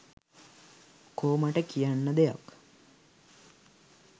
කෝ මට කියන්න දෙයක්